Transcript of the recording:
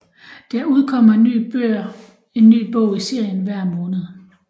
Der udkommer en ny bog i serien hver måned